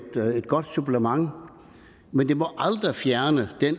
godt supplement men det må aldrig fjerne den